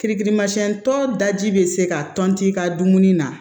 Kirikirimasiyɛn tɔ daji bɛ se ka tɔn i ka dumuni na